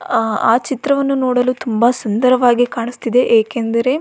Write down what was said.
ಆ ಚಿತ್ರವನ್ನು ನೊಡಲು ತುಂಬಾ ಸುಂದರವಾಗಿ ಕಾಣಿಸ್ತಿದೆ ಏಕೆಂದರೆ.